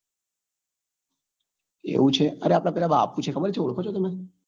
એવું છે અરે આપડે પેલા બાપુ છે ખબર છે ઓળખો છો તમે